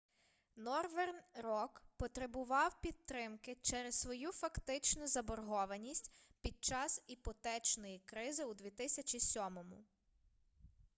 норверн рок потребував підтримки через свою фактичну заборгованість під час іпотечної кризи у 2007